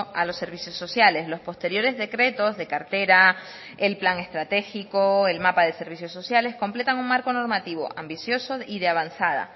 a los servicios sociales los posteriores decretos de cartera el plan estratégico el mapa de servicios sociales completan un marco normativo ambicioso y de avanzada